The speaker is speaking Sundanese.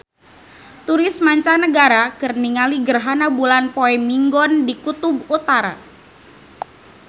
Turis mancanagara keur ningali gerhana bulan poe Minggon di Kutub Utara